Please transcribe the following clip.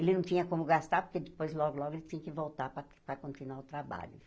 Ele não tinha como gastar, porque depois, logo, logo, ele tinha que voltar para para continuar o trabalho.